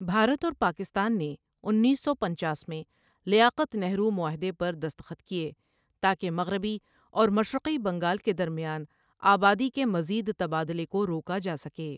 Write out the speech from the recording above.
بھارت اور پاکستان نے انیس سو پنچاس میں لیاقت نہرو معاہدے پر دستخط کیے تاکہ مغربی اور مشرقی بنگال کے درمیان آبادی کے مزید تبادلے کو روکا جا سکے.